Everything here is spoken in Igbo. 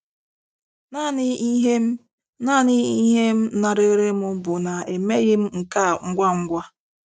Naanị ihe m Naanị ihe m na-arịrị m bụ na emeghị m nke a ngwa ngwa.